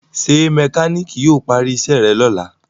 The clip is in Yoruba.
ṣe mekaniki yíò pari iṣé rẹ lọla?